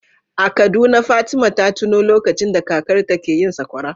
A Kaduna Fatima ta tuno lokacin da kakarta ke yin sakwara.